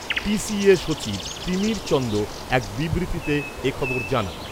TCA সচিব তিমির চন্দ এক বিবৃতিতে এ খবর জানান।